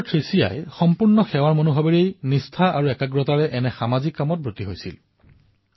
sister Theresa যি কাম কৰিছিল সেয়া সম্পূৰ্ণ নিষ্ঠা আৰু সমৰ্পণৰ মনোভাৱেৰে কৰিছিল